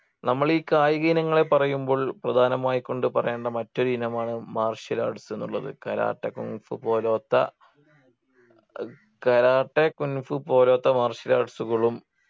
നമ്മൾ ഈ കായിക ഇനങ്ങളെ പറയുമ്പോൾ പ്രധാനമായി കൊണ്ട് പറയേണ്ട മറ്റൊരു ഇനമാണ് martial arts ന്നുള്ളത് കരാട്ടെ കുന്ഫു പോലോത്ത കരാട്ടെ കുൻഫു പോലോത്ത martial arts കളും